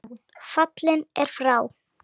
Fallinn er frá.